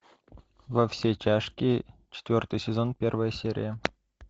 во все тяжкие четвертый сезон первая серия